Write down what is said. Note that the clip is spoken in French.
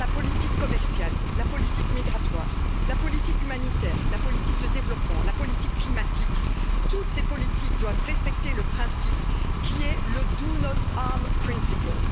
Que ce soit la politique commerciale, la politique migratoire, la politique humanitaire, la politique de développement ou la politique climatique toutes ces politiques doivent respecter le principe qui est le do not harm principle